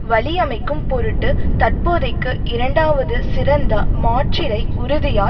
வழி அமைக்கும் பொருட்டு தற்போதைக்கு இரண்டாவது சிறந்த மாற்றிடை உறுதியாய்